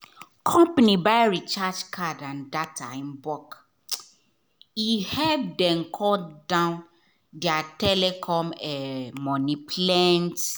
company buy recharge card and data in bulk e um help dem cut down their telecom um money plenty.